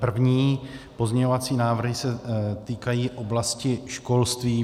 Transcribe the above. První pozměňovací návrhy se týkají oblasti školství.